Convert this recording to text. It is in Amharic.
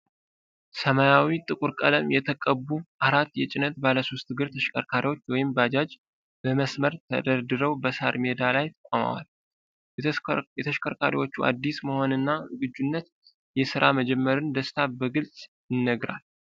ሰማያዊና ጥቁር ቀለም የተቀቡ አራት የጭነት ባለሦስት እግር ተሽከርካሪዎች (ባጃጅ) በመስመር ተደርድረው በሣር ሜዳ ላይ ቆመዋል። የተሽከርካሪዎቹ አዲስ መሆንና ዝግጁነት የሥራ መጀመርን ደስታ በግልጽ ይነግራል።